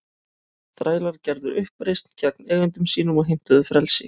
Þrælar gerðu uppreisn gegn eigendum sínum og heimtuðu frelsi.